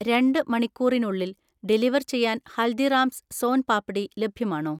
രണ്ട് മണിക്കൂറിനുള്ളിൽ ഡെലിവർ ചെയ്യാൻ ഹൽദിറാംസ് സോൻ പാപ്ഡി ലഭ്യമാണോ?